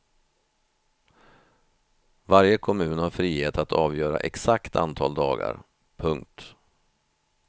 Varje kommun har frihet att avgöra exakt antal dagar. punkt